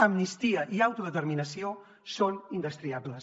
amnistia i autodeterminació són indestriables